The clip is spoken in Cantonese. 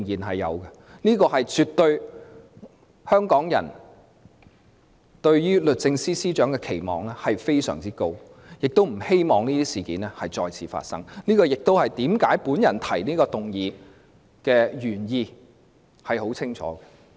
香港人對律政司司長期望極高，而且不希望這些事件再次發生，這亦是我提出這項議案的清晰原意。